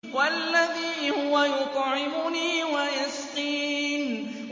وَالَّذِي هُوَ يُطْعِمُنِي وَيَسْقِينِ